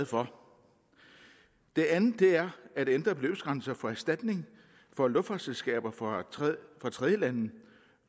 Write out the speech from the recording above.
for det andet at ændre beløbsgrænserne for erstatning fra luftfartsselskaber fra tredjelande